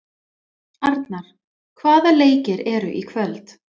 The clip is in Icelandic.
Arnar, hvaða leikir eru í kvöld?